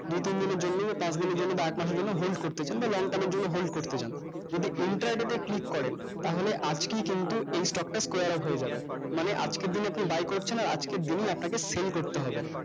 দুই তিন দিনের জন্য পাঁচ দিনের জন্য বা এক মাসের জন্য hold করতে চান বা long term এর জন্য হোল্ড করতে চান যদি entire day তে click করেন তাহলে আজকেই কিন্তু এই stock টা square up হয়ে যাবে মানে আজকের দিনে আপনি buy করছেন আর আজকের দিনেই আপনাকে sell করতে হবে